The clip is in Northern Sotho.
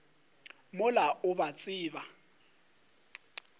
mola o a ba tseba